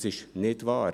Das ist nicht wahr!